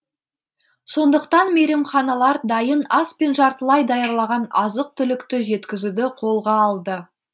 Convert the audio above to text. сондықтан мейрамханалар дайын ас пен жартылай даярлаған азық түлікті жеткізуді қолға алды